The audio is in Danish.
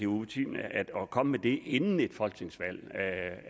utimeligt at komme med det inden et folketingsvalg